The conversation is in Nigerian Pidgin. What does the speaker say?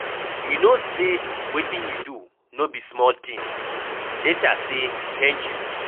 You no say wetin he do no be small thing. Later say thank you.